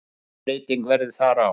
Engin breyting verði þar á.